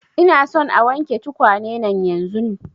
Ina son a wanke tukwane nan yanzun